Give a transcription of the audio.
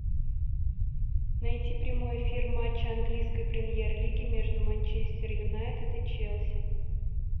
найти прямой эфир матча английской премьер лиги между манчестер юнайтед и челси